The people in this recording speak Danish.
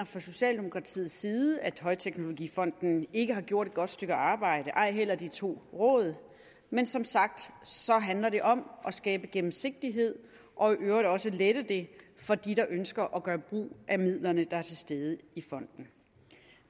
fra socialdemokratiets side mener at højteknologifonden ikke har gjort et godt stykke arbejde ej heller de to råd men som sagt handler det om at skabe gennemsigtighed og i øvrigt også at lette det for dem der ønsker at gøre brug af midlerne der er til stede i fonden